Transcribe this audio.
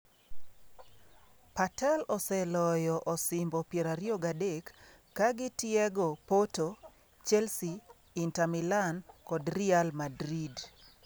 Patel oseloyo osimbo 23 ka otiego Porto, Chelsea, Inter Milan kod Real Madrid.